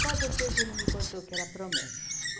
Só depois ele me contou que era promessa.